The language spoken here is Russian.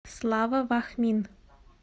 слава вахмин